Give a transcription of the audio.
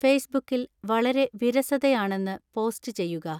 ഫെയ്സ്ബുക്കിൽ വളരെ വിരസതയാണെന്ന് പോസ്റ്റ് ചെയ്യുക